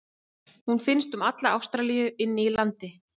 Hún finnst um alla Ástralíu inni í landi.